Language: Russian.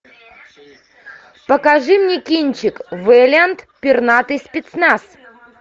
покажи мне кинчик вэлиант пернатый спецназ